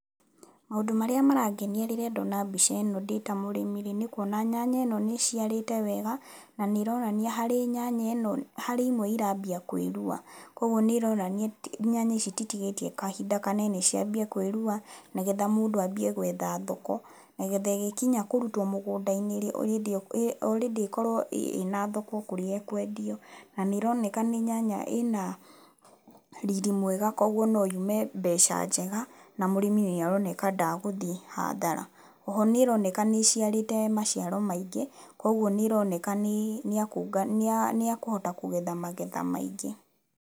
Maũndũ marĩa marangenia rĩrĩa ndona mbica ĩno ndĩ ta mũrĩmi rĩ nĩkuona nyanya ĩno nĩĩciarĩte wega na nĩironania nĩ harĩ imwe irambia kwĩrua, koguo nĩironania nyanya ici ititigitie kahinda kanene ciambie kwĩrua nĩgetha mũndũ ambie gwetha thoko. Nĩgetha ĩgĩkinya kũrutwo mũgunda-inĩ rĩ already ĩkorwo ĩna thoko kũrĩa ĩkwendio. Na nĩĩroneka nĩ nyanya ĩna riri mwega koguo no yume mbeca njega na mũrĩmi nĩaroneka ndagũthiĩ hathara. Oho nĩroneka nĩĩciarĩte maciaro maingĩ koguo nĩroneka nĩakũhota kũgetha magetha maingĩ.